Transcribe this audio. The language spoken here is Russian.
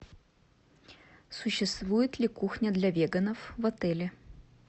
существует ли кухня для веганов в отеле